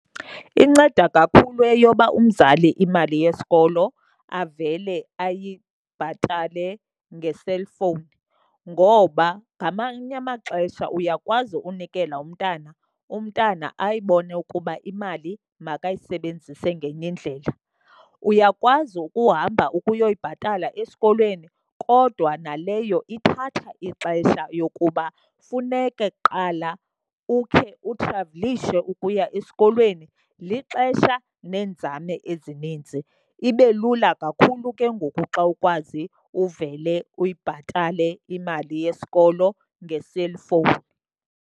Inceda kakhulu eyoba umzali imali yesikolo avele ayibhatale ngeselfowuni. Ngoba ngamanye amaxesha uyakwazi ukunikela umntana, umntana ayibone ukuba imali makayisebenzise ngenye indlela. Uyakwazi ukuhamba ukuyoyibhatala esikolweni kodwa naleyo ithatha ixesha yokuba funeke kuqala ukhe uthravelishe ukuya esikolweni, lixesha neenzame ezininzi. Ibe lula kakhulu ke ngoku xa ukwazi uvele uyibhatale imali yesikolo ngeselfowuni.